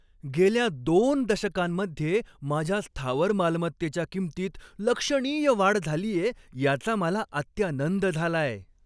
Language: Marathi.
गेल्या दोन दशकांमध्ये माझ्या स्थावर मालमत्तेच्या किंमतीत लक्षणीय वाढ झालीये याचा मला अत्यानंद झालाय.